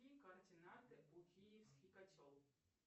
какие координаты у киевский котел